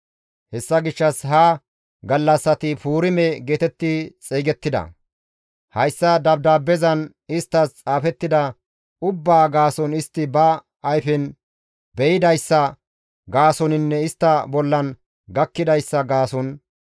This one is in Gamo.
Hessa gishshas ha gallassati Puurime geetetti xeygettida; hayssa dabdaabbezan isttas xaafettida ubbaa gaason istti ba ayfen be7idayssa gaasoninne istta bollan gakkidayssa gaason,